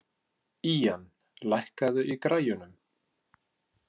Ían, lækkaðu í græjunum.